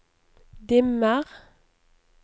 dimmer